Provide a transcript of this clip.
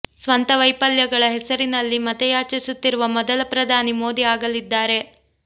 ಸ್ವಂತ ವೈಫಲ್ಯಗಳ ಹೆಸರಿನಲ್ಲಿ ಮತ ಯಾಚಿಸುತ್ತಿರುವ ಮೊದಲ ಪ್ರಧಾನಿ ಮೋದಿ ಆಗಲಿದ್ದಾರೆ